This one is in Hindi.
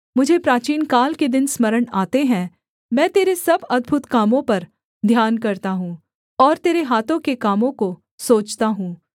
मुझे प्राचीनकाल के दिन स्मरण आते हैं मैं तेरे सब अद्भुत कामों पर ध्यान करता हूँ और तेरे हाथों के कामों को सोचता हूँ